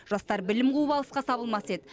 жастар білім қуып алысқа сабылмас еді